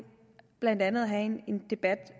blandt andet at have en debat